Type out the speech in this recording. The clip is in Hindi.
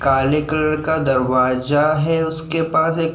काले कलर का दरवाज़ा है उसके पास एक --